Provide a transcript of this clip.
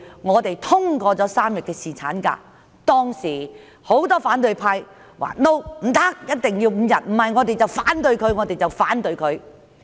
我們通過3天侍產假方案時，很多反對派議員說一定要5天，否則會反對方案。